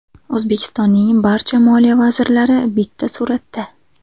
O‘zbekistonning barcha moliya vazirlari bitta suratda.